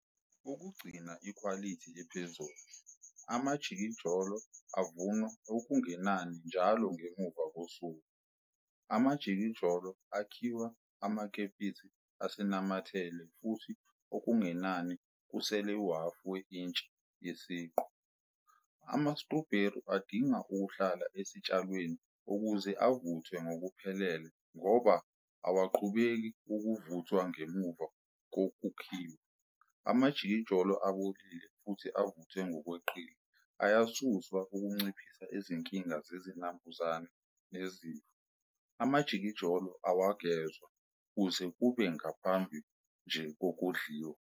Ukugcina ikhwalithi ephezulu, amajikijolo avunwa okungenani njalo ngemuva kosuku. Amajikijolo akhiwa amakepisi asanamathele futhi okungenani kusele uhhafu we-intshi yesiqu. Ama-strawberry adinga ukuhlala esitshalweni ukuze avuthwe ngokuphelele ngoba awaqhubeki ukuvuthwa ngemuva kokukhiwa. Amajikijolo abolile futhi avuthwe ngokweqile ayasuswa ukunciphisa izinkinga zezinambuzane nezifo. Amajikijolo awagezwa kuze kube ngaphambi nje kokudliwa.